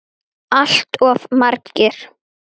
Stundum tánum fýla er frá.